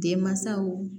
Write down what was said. Denmansaw